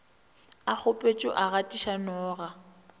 a kgopetšwe a gatiša noga